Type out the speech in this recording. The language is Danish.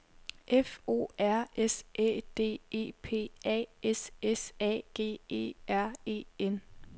F O R S Æ D E P A S S A G E R E N